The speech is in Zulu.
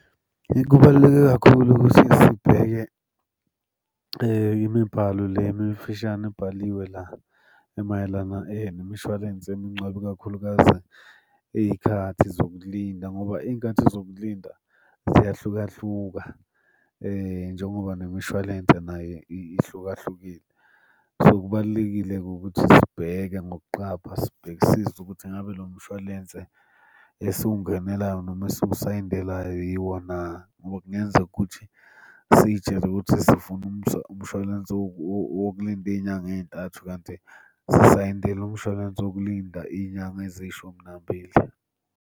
Kubaluleke kakhulu ukuthi sibheke imibhalo le emifishane ebhaliwe la emayelana nemishwalense yomngcwabo ikakhulukazi iy'khathi zokulinda ngoba iy'nkathi zokulinda ziyahlukahluka njengoba nemishwalense naye ihluka hlukile. So, kubalulekile-ke ukuthi sibheke ngokuqapha sibhekisise ukuthi ngabe lo mshwalense esiwungenelayo noma esiwusayindelayo yiwo na, ngoba kungenzeka ukuthi siy'tshele ukuthi zifuna umshwalense wokulinda iy'nyanga ey'ntathu kanti sisayindele umshwalense wokulinda iy'nyanga eziyishumi nambili.